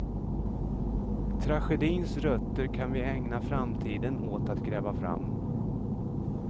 Tragedins rötter kan vi ägna framtiden åt att gräva fram.